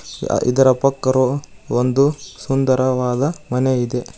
ಇದರ ಪಕ್ಕ ರು- ಒಂದು ಸುಂದರವಾದ ಮನೆ ಇದೆ.